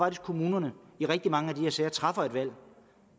at kommunerne i rigtig mange af de her sager træffer et valg